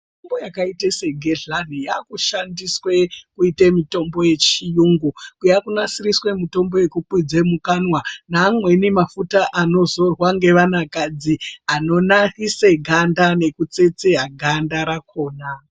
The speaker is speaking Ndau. Mitombo yakaite segedhlani yakushandiswe kuite mitombo yechiyungu. Yakunasiriswe mitombo yekukwidze mwukanwa neamweni mafuta anozorwe navanakadzi anonakise ganda nekutsetse ganda rakona.